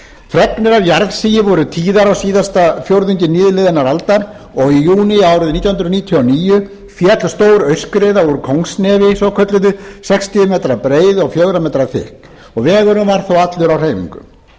fregnir af jarðsigi voru tíðar á síðasta fjórðungi nýliðinnar aldar og í júní árið nítján hundruð níutíu og níu féll stór aurskriða úr kóngsnefi svokölluðu sextíu m breiðu og fjögur m að þykkt vegurinn var þá allur á hreyfingu